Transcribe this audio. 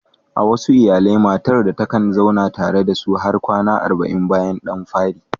A wasu iyalai, matar ɗa takan zauna tare da su har kwana arba'in bayan ɗan fari.